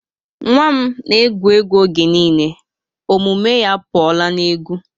Nwa m na egwu egwu oge niile. omume ya apuola n'egwu